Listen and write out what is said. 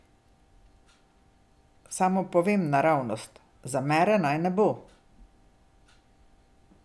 Samo povemo naravnost, zamere naj ne bo.